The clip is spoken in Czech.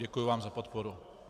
Děkuju vám za podporu.